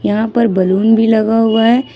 यहां पर बैलून भी लगा हुआ है।